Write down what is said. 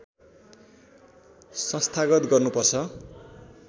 संस्थागत गर्नुपर्छ